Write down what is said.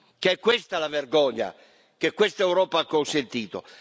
che è questa la vergogna che questa Europa ha consentito.